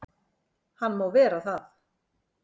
Hann má vera það.